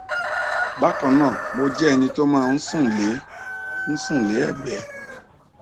bákan náà mo jẹ ẹni tó máa ń sùn lé ń sùn lé ẹgbé